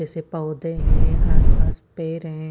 ऐसे पोधे है आस पास पेड़ है।